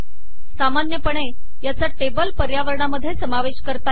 सामान्यपणे याचा टेबल पर्यावरणामध्ये समावेश करता येतो